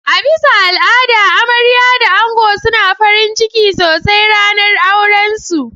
A bisa al'ada amarya da ango suna farinciki sosai ranar auran su.